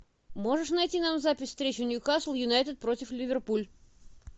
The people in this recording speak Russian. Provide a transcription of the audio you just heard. можешь найти нам запись встречи ньюкасл юнайтед против ливерпуль